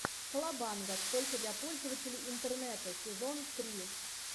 колобанга только для пользователей интернета сезон три